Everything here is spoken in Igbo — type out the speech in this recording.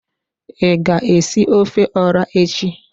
I ga esi ofe ora echi?